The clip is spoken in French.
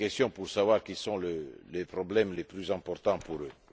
pour savoir quels étaient les problèmes les plus importants pour elles.